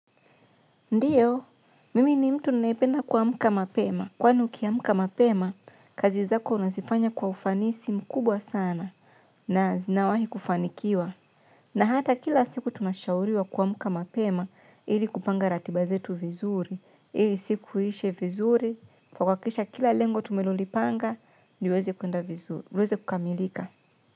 Ndiyo, mimi ni mtu ninayependa kuamka mapema. Kwani ukiamka mapema, kazi zako unazifanya kwa ufanisi mkubwa sana. Na zinawahi kufanikiwa. Na hata kila siku tunashauriwa kuamka mapema ili kupanga ratiba zetu vizuri. Ili siku iishe vizuri. Kwa kuhakikisha kila lengo tumelolipanga, liweze kukamilika.